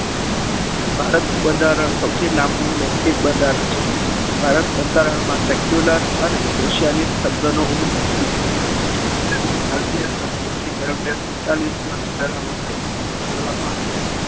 ભારતનું બંધારણ સૌથી લાંબુ અને લેખિત બંધારણ છે. ભારત બંધારણમાં circular અને socialist શબ્દનો ઉપયો સુધારા વખતે કરવામાં આવ્યો હતો.